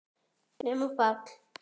Nema Páll.